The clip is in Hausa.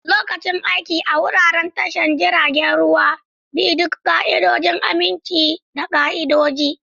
Lokacin aiki a wuraren tashar jiragen ruwa, bi duk ƙa'idodin aminci da ƙa'idodi.